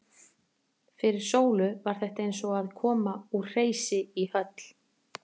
Fyrir Sólu var þetta eins og að koma úr hreysi í höll.